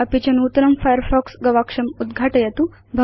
अपि च नूतनं फायरफॉक्स गवाक्षं उद्घाटयतु